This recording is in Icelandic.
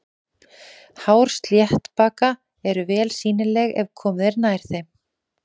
Hár sléttbaka eru vel sýnileg ef komið er nærri þeim.